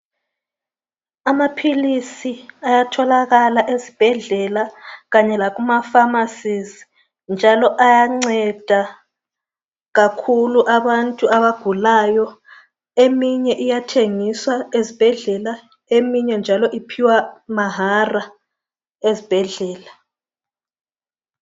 Amaphilisi ayatholakala ezibhedlela kanye lasemafamasi njalo ayanceda kakhulu abantu abagulayo eminye iyathengiswa ezibhedlela eminye njalo iphiwa mahala ezibhedlela.